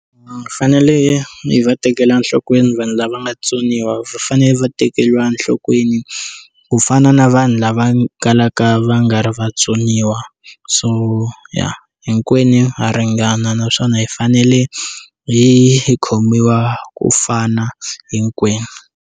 Va fanele hi va tekela enhlokweni vanhu lava nga tsoniwa va fanele va tekeriwa enhlokweni ku fana na vanhu lava kalaka va nga ri vatsoniwa so hinkwenu ha ringana naswona hi fanele hi hi khomiwa ku fana hinkwenu.